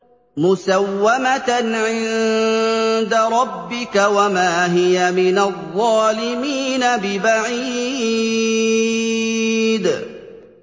مُّسَوَّمَةً عِندَ رَبِّكَ ۖ وَمَا هِيَ مِنَ الظَّالِمِينَ بِبَعِيدٍ